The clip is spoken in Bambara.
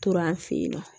Tora an fɛ yen nɔ